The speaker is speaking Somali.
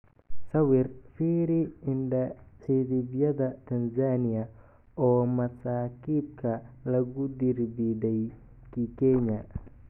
Sawir: Fiiri indha-cidhibyada Tanzania oo masaakiibka lagu dirbiday Kikenya